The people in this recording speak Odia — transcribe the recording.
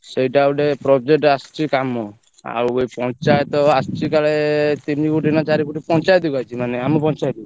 ସେଇଟା ଗୋଟେ project ଆସିଛି କାମ ଆଉ ଏଇ ପଞ୍ଚାୟତ ଆସିଛି କାଳେ ତିନି ଫୁଟ ନା ଚାରି ଫୁଟ ପଞ୍ଚାୟତ କୁ ଆସିଛି ମାନେ ଆମ ପଞ୍ଚାୟତ କୁ।